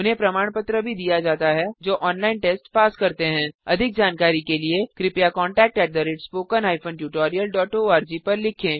उन्हें प्रमाण पत्र भी दिया जाता है जो ऑनलाइन टेस्ट पास करते हैं अधिक जानकारी के लिए कृपया contact at spoken hyphen tutorial dot ORG पर लिखें